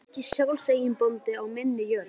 Er ég ekki sjálfseignarbóndi á minni jörð?